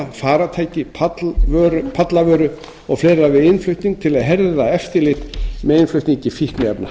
farartæki pallavöru og fleira við innflutning til að herða eftirlit með innflutningi fíkniefna